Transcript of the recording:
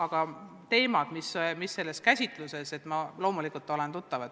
Aga teemadega, mida on käsitletud, ma loomulikult olen tuttav.